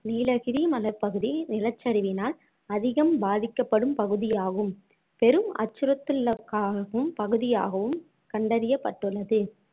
நீலகரி மலைப்பகுதி நிலச்சரிவினால் அதிகம் பாதிக்கப்படும் பகுதியாகும் பெரும் அச்சுறுத்தல்லுக்காகும் பகுதியாகவும் கண்டறியப்பட்டுள்ளது